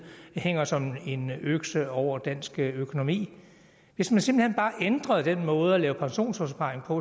hænger som økse over dansk økonomi hvis man simpelt hen bare ændrede den måde at lave pensionsopsparing på